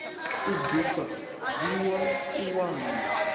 u bika zwiiwa u nwa